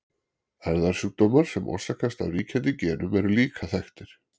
erfðasjúkdómar sem orsakast af ríkjandi genum eru líka þekktir